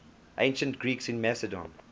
ancient greeks in macedon